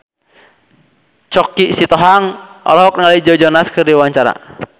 Choky Sitohang olohok ningali Joe Jonas keur diwawancara